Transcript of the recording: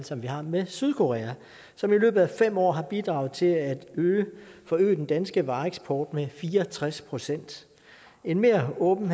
som vi har med sydkorea og som i løbet af fem år har bidraget til at forøge den danske vareeksport med fire og tres procent en mere åben